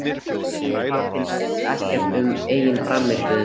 En hvað fannst Eggerti um eigin frammistöðu?